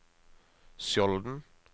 Skjolden